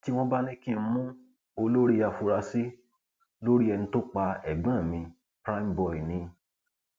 tí wọn bá ní kí n mú olórí afurasí lórí ẹni tó pa ẹgbọn mi cs] primeboy ni